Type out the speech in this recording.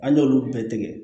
An y'olu bɛɛ tigɛ